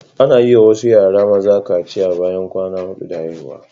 Ana yi wa wasu yara maza kaciya bayan kwana hudu da haihuwa